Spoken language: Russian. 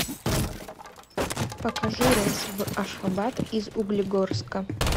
покажи рейс в ашхабад из углегорска